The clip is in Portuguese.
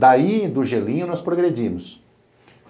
Daí, do gelinho, nós progredimos.